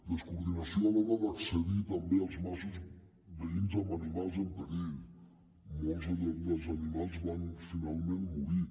descoordinació a l’hora d’accedir també als masos veïns amb animals en perill molts dels animals van finalment morir